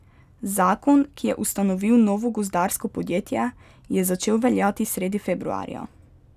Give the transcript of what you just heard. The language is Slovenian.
Zakon, ki je ustanovil novo gozdarsko podjetje, je začel veljati sredi februarja.